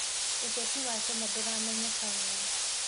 ũteti wa Kenya ndũramenyeka wega.